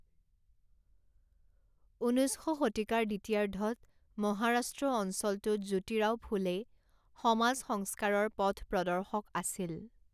ঊনৈছ শতিকাৰ দ্বিতীয়াৰ্ধত মহাৰাষ্ট্ৰ অঞ্চলটোত জ্যোতিৰাও ফুলে সমাজ সংস্কাৰৰ পথপ্ৰদৰ্শক আছিল।